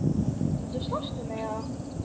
Viltu slást við mig?